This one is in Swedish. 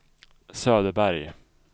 Söderberg